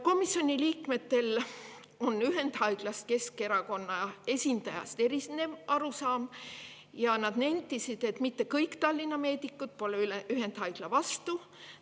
Komisjoni liikmetel on ühendhaiglast Keskerakonna esindajast erinev arusaam ja nad nentisid, et mitte kõik Tallinna meedikud pole ühendhaigla vastu.